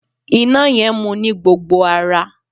Iná yẹn mu ní gbogbo ara.